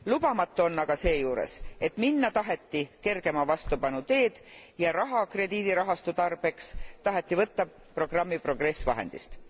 Lubamatu on aga seejuures, et minna taheti kergema vastupanu teed ja raha krediidirahastu tarbeks taheti võtta programmi Progress vahendist.